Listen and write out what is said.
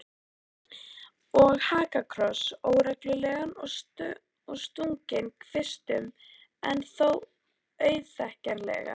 Og hakakross, óreglulegan og stunginn kvistum en þó auðþekkjanlegan.